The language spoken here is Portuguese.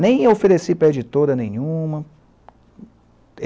Nem ofereci para a editora nenhuma.